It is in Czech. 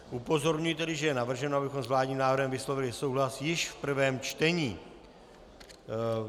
Upozorňuji tedy, že je navrženo, abychom s vládním návrhem vyslovili souhlas již v prvém čtení.